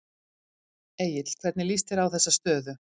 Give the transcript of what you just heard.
Egill hvernig líst þér á þessa stöðu?